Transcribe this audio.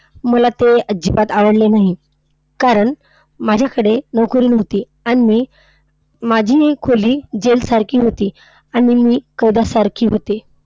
मला तो अजिबात आवडले नाही. कारण माझ्याकडे नोकरी नव्हती, आणि माझी खोली jail सारखी होती. आणि मी कैद्यासारखे होते.